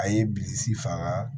A ye bilisi faga